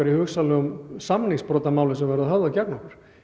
í hugsanlegum málum sem verður höfðað gegn okkur